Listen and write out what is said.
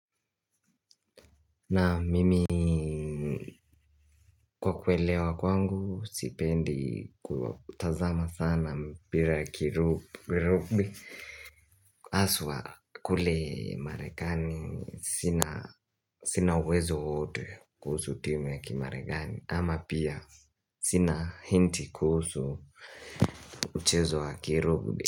Naam mimi kwa kuelewa kwangu sipendi kutazama sana mpira ya ki rubi Aswa kule marekani sina uwezo wowote kuhusu timu ya ki marekani ama pia sina hinti kuhusu uchezo wa ki rubi.